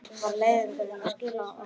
Hvert var leiðangurinn að skila okkur?